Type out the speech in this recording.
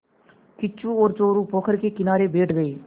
किच्चू और चोरु पोखर के किनारे बैठ गए